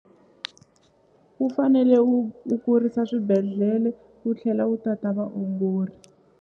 Wu fanele wu wu kurisa swibedhlele wu tlhela wu tata vaongori.